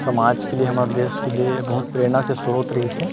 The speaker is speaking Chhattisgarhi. समाज के लिए हमर देश के लिए बहूत प्रेरणा के स्रोत रहिसे।